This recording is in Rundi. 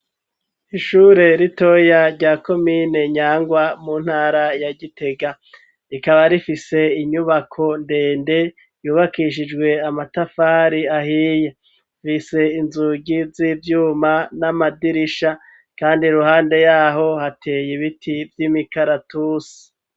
Ishure ritoya rya komine nyangwa, mu ntara ya gitega ,rikaba rifise inyubako ndende yubakishijwe amatafari ahiye, fise inzugi z'ivyuma n'amadirisha ,kandi ruhande yaho hateye ibiti vy'imikaratusi.